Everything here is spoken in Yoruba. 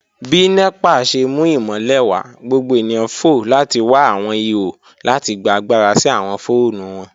Bi NEPA ṣe mu imọlẹ wa, gbogbo eniyan fo lati wa awọn iho lati gba agbara si awọn foonu wọn.